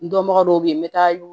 Dɔnbaga dɔw bɛ yen n bɛ taa yo